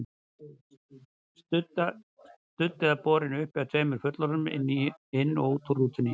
Studd eða borin uppi af tveimur fullorðnum, inn og út úr rútunni.